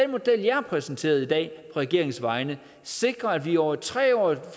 model jeg har præsenteret i dag regeringens vegne sikrer at vi over et tre årig